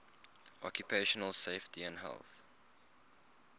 occupational safety and health